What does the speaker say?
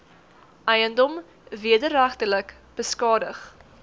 eiendom wederregtelik beskadig